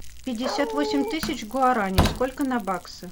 пятьдесят восемь тысяч гуарани сколько на баксы